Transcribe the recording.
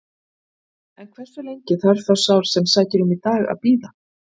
En hversu lengi þarf þá sá sem sækir um í dag að bíða?